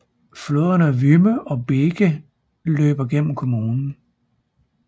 Floderne Wümme og Beeke løber gennem kommunen